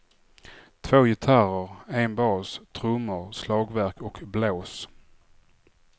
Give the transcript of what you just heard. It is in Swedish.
Två gitarrer, en bas, trummor, slagverk och blås.